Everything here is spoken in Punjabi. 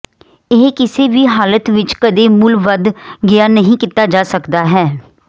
ਇਹ ਕਿਸੇ ਵੀ ਹਾਲਤ ਵਿਚ ਕਦੇ ਮੁੱਲ ਵਧ ਗਿਆ ਨਹੀ ਕੀਤਾ ਜਾ ਸਕਦਾ ਹੈ